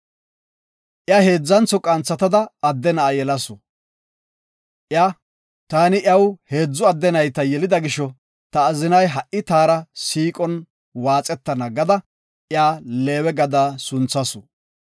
Iya heedzantho qanthatada adde na7a yelasu. Iya, “Taani iyaw heedzu adde nayta yelida gisho, ta azinay ha7i taara siiqon waaxetana” gada iya Leewe gada sunthasu.